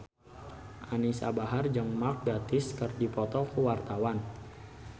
Anisa Bahar jeung Mark Gatiss keur dipoto ku wartawan